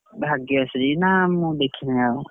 ଭାଗ୍ୟଶ୍ରୀ! ନା ମୁଁ ଦେଖିନି ଆଉ,